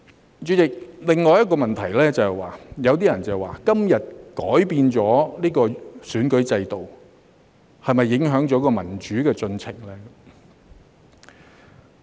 代理主席，另一個問題是，有些人說今天改變選舉制度會否影響民主進程呢？